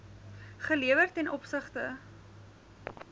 gelewer t o